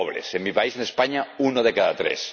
en mi país, en España, uno de cada tres.